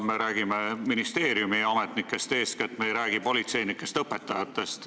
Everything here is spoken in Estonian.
Me räägime sel juhul eeskätt ministeeriumiametnikest, me ei räägi politseinikest ega õpetajatest.